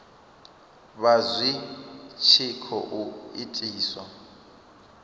vha zwi tshi khou itiswa